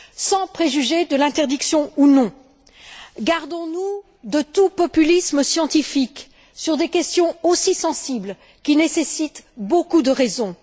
Sans préjuger de l'interdiction ou non, gardons nous de tout populisme scientifique sur des questions aussi sensibles qui nécessitent beaucoup de raison.